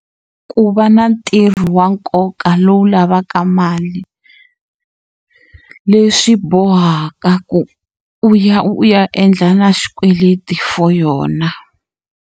Ku va na ntirho wa nkoka lowu lavaka mali leswi bohaka ku u ya u ya endla na xikweleti for yona.